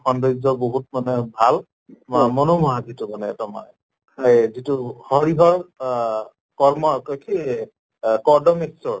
সৌন্দৰ্য্য় বহুত মানে ভাল, মনোমোহা যিটো মানে এক্দম মানে এই যিটো হৰিহৰ ওহ কৰ্ম কি এহ কদম ঈশ্বৰ